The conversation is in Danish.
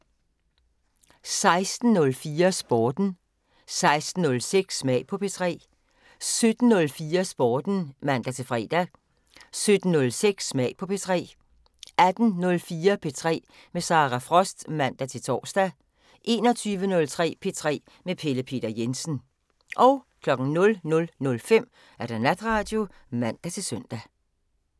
16:04: Sporten 16:06: Smag på P3 17:04: Sporten (man-fre) 17:06: Smag på P3 18:04: P3 med Sara Frost (man-tor) 21:03: P3 med Pelle Peter Jensen 00:05: Natradio (man-søn)